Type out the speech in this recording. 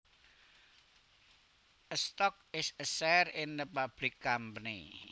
A stock is a share in a public company